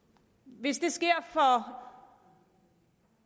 hvis det sker for